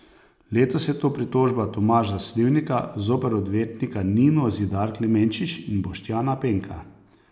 Letos je to pritožba Tomaža Slivnika zoper odvetnika Nino Zidar Klemenčič in Boštjana Penka.